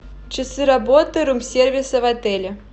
часы работы рум сервиса в отеле